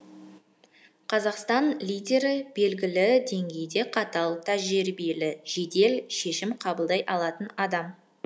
қазақстан лидері белгілі деңгейде қатал тәжірибелі жедел шешім қабылдай алатын адам